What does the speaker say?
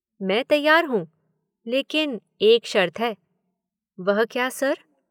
मैं तैयार हूँ। लेकिन एक शर्त है। वह क्या सर?